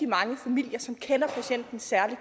mange familier og som kender patienten særlig